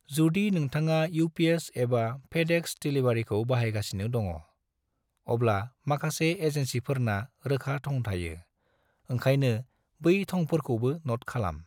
जुदि नोंथाङा UPS एबा FedEx डिलीवरीखौ बाहायगासिनो दङ', अब्ला माखासे एजेनसिफोरना रोखा थं थायो, ओंखायनो बै थंफोरखौबो न'ट खालाम।